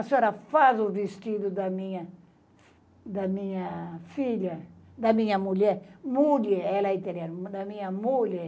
A senhora faz o vestido da minha da minha filha, da minha mulher, mulher, ela é italiana, da minha mulher,